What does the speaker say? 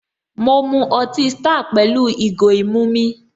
Mọ mu ọtí star pẹ̀lú ìgò ìmu mi